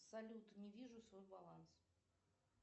салют не вижу свой баланс